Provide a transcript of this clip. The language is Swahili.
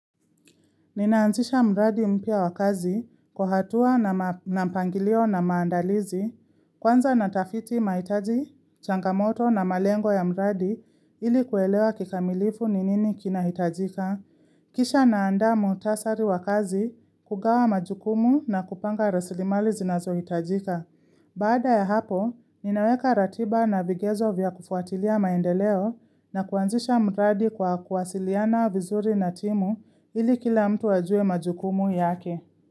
Ninaanzisha mradi mpya wakazi kuhatua na mpangilio na maandalizi, kwanza natafiti maitaji, changamoto na malengo ya mradi ili kuelewa kikamilifu ni nini kina hitajika, kisha naanda mutasari wakazi, kugawa majukumu na kupanga resilimali zinazo hitajika. Baada ya hapo, ninaweka ratiba na vigezo vya kufuatilia maendeleo na kuanzisha mradi kwa kuwasiliana vizuri na timu ili kila mtu wajue majukumu yake.